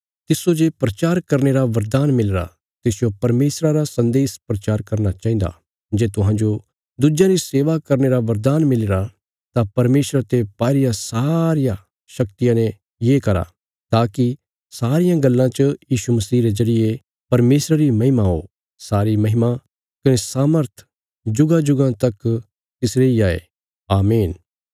तिस्सो जे प्रचार करने रा बरदान मिलीरा तिसजो परमेशरा रा सन्देश प्रचार करना चाहिन्दा जे तुहांजो दुज्यां री सेवा करने रा बरदान मिलीरा तां परमेशरा ते पाई रिया सारिया शक्तिया ने ये करा ताकि सारियां गल्लां च यीशु मसीह रे जरिये परमेशरा री महिमा हो सारी महिमा कने सामर्थ जुगांजुगां तक तिसरी इ हाई आमीन